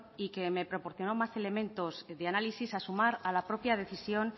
y que me proporcionó más elementos de análisis a sumar a la propia decisión